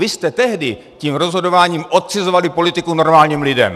Vy jste tehdy tím rozhodováním odcizovali politiku normálním lidem.